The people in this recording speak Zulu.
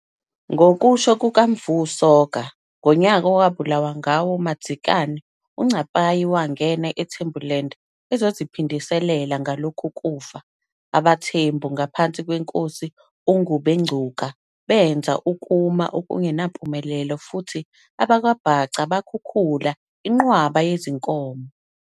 Ngokusho kukaMfu Soga, ngonyaka owabulawa ngawo uMadzikane, uNcapayi wangena Thembuland ezoziphindiselela ngalokhu kufa. Abantu Thembus ngaphansi kweNkosi Ngubengcuka benza ukuma okungenampumelelo futhi abakwaBhaca bakhukhula inqwaba yezinkomo.